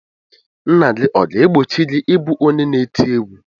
Nna gị ọ ga-egbochi gị ịbụ onye na-eti egwu?